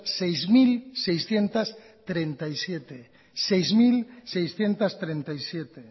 seis mil seiscientos treinta y siete